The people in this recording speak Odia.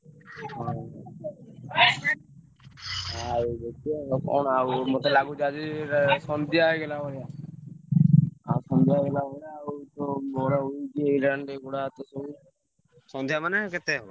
ହଉ ଆଉ ମତେ ଲାଗୁଛି ସନ୍ଧ୍ୟା ହେଇଗଲା ଭଳିଆ ।